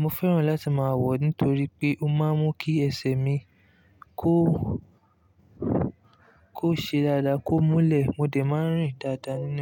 Mo fẹ́ràn láti máa wọ̀ ní torí pé ó máa ń mú kí ẹsẹ̀ mi kó, kó ṣe dáadáa, kó múlẹ̀, mo dẹ̀ máa ń rìn dáadáa ní.